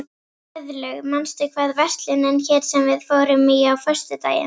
Guðlaug, manstu hvað verslunin hét sem við fórum í á föstudaginn?